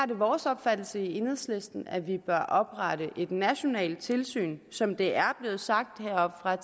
det vores opfattelse i enhedslisten at vi bør oprette et nationalt tilsyn som det tidligere er blevet sagt heroppefra